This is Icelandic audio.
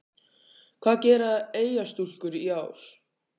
Hvað gera Eyjastúlkur í ár?